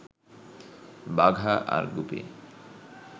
বাঘা আর গুপি